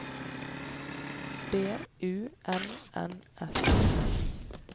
B U N N S